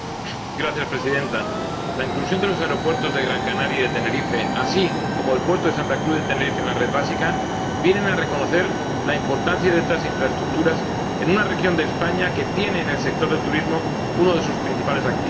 Señora Presidenta, la inclusión de los aeropuertos de Gran Canaria y de Tenerife, así como del puerto de Santa Cruz de Tenerife, en la red principal viene a reconocer la importancia de estas infraestructuras en una región de España que tiene en el sector del turismo uno de sus principales activos.